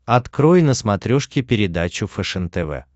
открой на смотрешке передачу фэшен тв